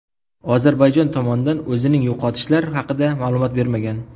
Ozarbayjon tomon o‘zining yo‘qotishlar haqida ma’lumot bermagan.